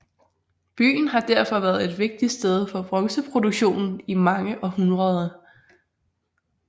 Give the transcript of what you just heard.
Byen har derfor været et vigtigt sted for bronzeproduktion i mange århundreder